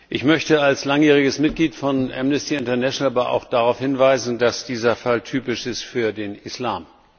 Ich möchte als langjähriges Mitglied von Amnesty International aber auch darauf hinweisen, dass dieser Fall typisch ist für den Islam.